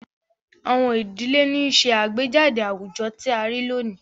Àwọn idile ni nṣe agbejade awujọ ti a rii loni